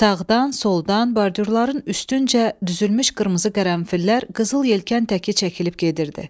Sağdan, soldan, bordürlərin üstüncə düzülmüş qırmızı qərənfillər qızıl yelkən təki çəkilib gedirdi.